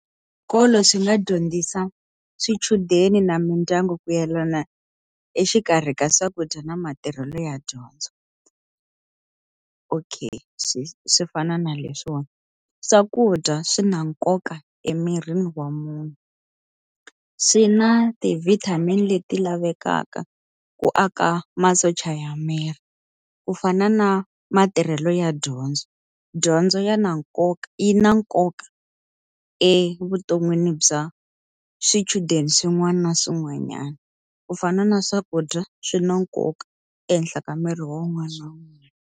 Swikolo swi nga dyondzisa swichudeni na mindyangu ku yelana exikarhi ka swakudya na matirhelo ya dyondzo. Okay swi swi fana na leswiwana, swakudya swi na nkoka emirini wa munhu, swi na ti-vitamin leti lavekaka ku aka masocha ya miri. Ku fana na matirhelo ya dyondzo. Dyondzo ya na nkoka yi na nkoka evuton'wini bya swichudeni swin'wana na swin'wanyana. Ku fana na swakudya swi na nkoka ehenhla ka miri wun'wana na wun'wana.